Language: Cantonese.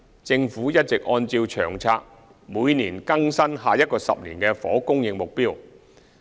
政府一直按照《長策》每年更新10年房屋供應目標。